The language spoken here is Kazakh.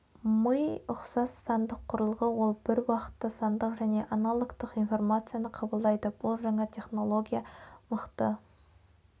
ми ұқсас сандық құрылғы ол бір уақытта сандық және аналогтық информацияны қабылдайды бұл жаңа техналогия мықты